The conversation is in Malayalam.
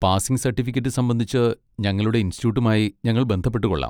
പാസിംഗ് സർട്ടിഫിക്കറ്റ് സംബന്ധിച്ച് ഞങ്ങളുടെ ഇൻസ്റ്റിറ്റ്യൂട്ടുമായി ഞങ്ങൾ ബന്ധപ്പെട്ടുകൊള്ളാം.